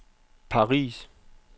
Paris